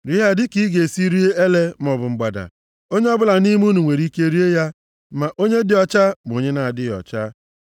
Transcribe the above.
Rie ha dịka ị ga-esi rie ele maọbụ mgbada. Onye ọbụla nʼime unu nwere ike rie ya, ma onye dị ọcha ma onye na-adịghị ọcha.